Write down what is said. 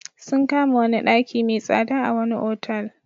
Sun kama wani daki mai tsada a wani otal.